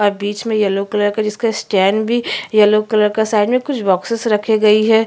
और बीच में येल्लो कलर का जिसका स्टैंड भी येल्लो कलर का साइड में कुछ बोक्सिस रखे गई हैं।